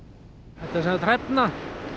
þetta er sem sagt hrefna